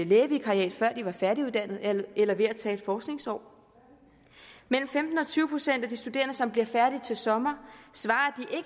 lægevikariat før de var færdiguddannet eller ved at tage et forskningsår mellem femten og tyve procent af de studerende som bliver færdige til sommer svarer